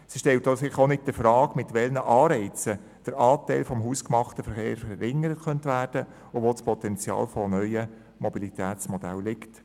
Sie stellt sich also auch nicht der Frage, mit welchen Anreizen der Anteil des hausgemachten Verkehrsaufkommens verringert werden kann und wo das Potenzial von neuen Mobilitätsmodellen liegt.